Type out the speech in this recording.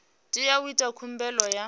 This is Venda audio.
tea u ita khumbelo ya